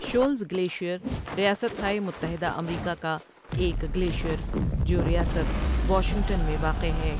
شؤلز glacier ریاست ہائے متحدہ امریکا کا ایک گلیشیر جو ریاست واشنگٹن میں واقع ہے۔